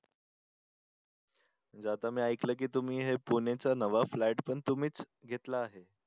आता मी ऐकलं की तुम्ही हे पुण्याचं नवा फ्लॅट पण तुम्हीच घेतला आहे.